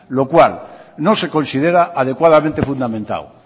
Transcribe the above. lo cual no se considera adecuadamente fundamentado